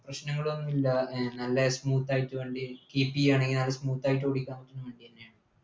പ്രശ്നങ്ങളൊന്നു ഇല്ല ഏർ നല്ലെ smooth ആയിട്ട് വണ്ടി keep ചെയ്യണെങ്കി നല്ല smooth ആയിട്ടോടിക്കാം വണ്ടിയെന്നെയാണ്